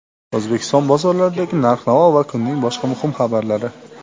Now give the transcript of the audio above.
O‘zbekiston bozorlaridagi narx-navo va kunning boshqa muhim xabarlari.